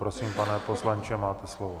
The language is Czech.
Prosím, pane poslanče, máte slovo.